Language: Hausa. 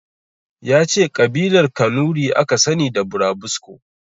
Yace Ƙabilar kanuri aka sani da burabusko